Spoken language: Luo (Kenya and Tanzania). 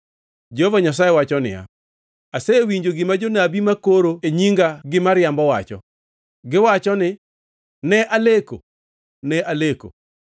Jehova Nyasaye wacho niya, “Asewinjo gima jonabi makoro e nyinga gi miriambo wacho. Giwacho ni, ‘Ne aleko! Ne aleko!’